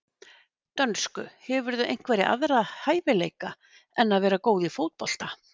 Dönsku Hefurðu einhverja aðra hæfileika en að vera góð í fótbolta?